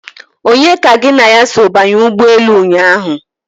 Onye ka gị na ya so banye ụgbọelu ụnyaahụ?